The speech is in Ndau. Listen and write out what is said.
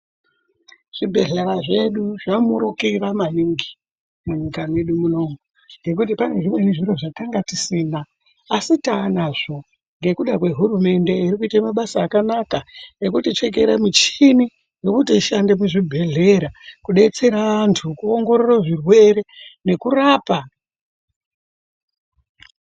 Zvibhedhlera zvedu zvamurukira maningi munyika mwedu munomu ngekuti panezvimwe zvinhu zvatanga tisina asi taanazvo nekuda kwe hurumende irikuite mabasa akanaka nekuti chekera michini yekutiishande muzvibhedhlera tidetsere antu kuongorora zvirwere nekurapa.